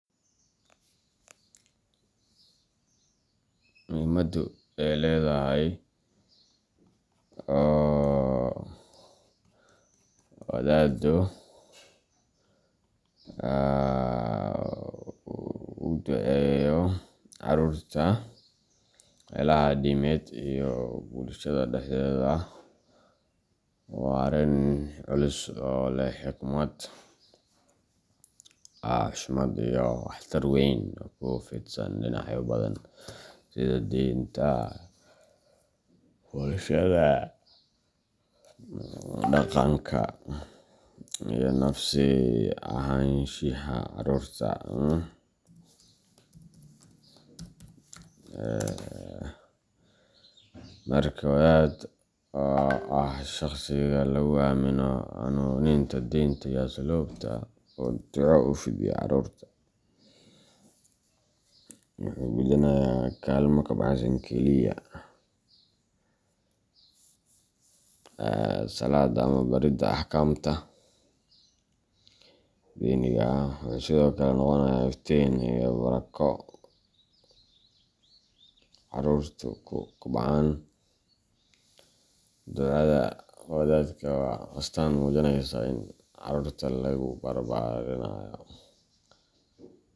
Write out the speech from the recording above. Muhiimaddu ay ledahay oo wadaaddu uga duceeyo carruurta meelaha diimeed iyo bulshada dhexdeeda waa arrin culus oo leh xigmad, xushmad, iyo waxtar weyn oo ku fidsan dhinacyo badan sida diinta, bulshada, dhanganka iyo nafsi ahaanshaha carruurta. Marka wadaad oo ah shakhsiga lagu aamino hanuuninta diinta iyo asluubta uu duco u fidiyo carruurta, wuxuu gudanayaa kaalmo ka baxsan keliya salaadda ama baridda axkaamta diiniga ah; wuxuu sidoo kale noqonayaa iftiin iyo barako carruurtu ku kobcaan. Ducada wadaadku waa astaan muujinaysa in carruurta lagu barbaarinayo.